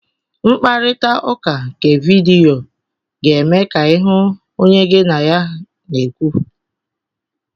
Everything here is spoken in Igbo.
Mkparịta ụka nke vidiyo ga-eme ka ịhụ onye gị na ya na-ekwu.